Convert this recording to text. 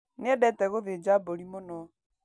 Niendete gũthĩnja mburi mũno.